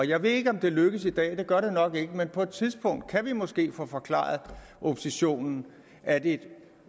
jeg ved ikke om det lykkes i dag det gør det nok ikke men på et tidspunkt kan vi måske få forklaret oppositionen at et